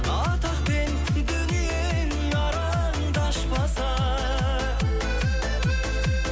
атақ пен дүниең араңды ашпаса